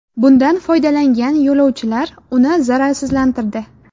Bundan foydalangan yo‘lovchilar uni zararsizlantirdi.